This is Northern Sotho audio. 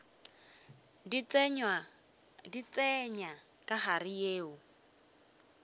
di tsenya ka gare yeo